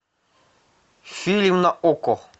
фильм на окко